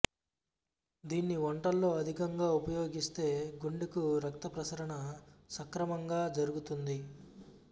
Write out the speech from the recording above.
దీన్ని వంటల్లో అధికంగా ఉపయోగిస్తే గుండెకు రక్తప్రసరణ సక్రమంగా జరుగుతుంది